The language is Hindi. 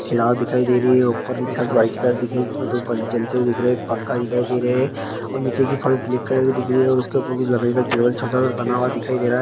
कुछ यहाँ दिखाई दे रही है ऊपर की छत व्हाइट कलर की दिख रही है इसमे दो जलते हुए दिख रहे है एक पंखा दिखाई दे रहे है और नीचे की फर्स ब्लैक कलर की दिख रहे हैं उसके ऊपर लकड़ी का टेबल बना हुआ दिखाई--